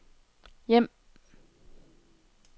hjem